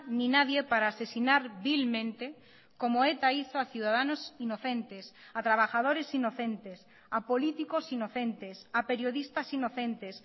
ni nadie para asesinar vilmente como eta hizo a ciudadanos inocentes a trabajadores inocentes a políticos inocentes a periodistas inocentes